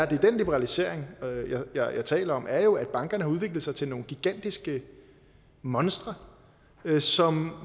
den liberalisering jeg taler om er jo at bankerne har udviklet sig til nogle gigantiske monstre som